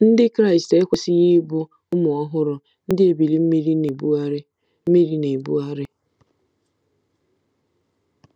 Ndị Kraịst ekwesịghị ịbụ “ụmụ ọhụrụ, ndị ebili mmiri na-ebugharị mmiri na-ebugharị .”